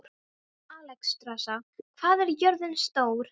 Alexstrasa, hvað er jörðin stór?